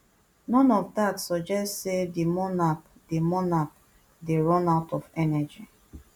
none of dat suggest say di monarch dey monarch dey run out of energy